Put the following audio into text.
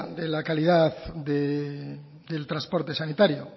de la calidad del transporte sanitario